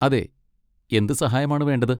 അതെ. എന്ത് സഹായമാണ് വേണ്ടത്?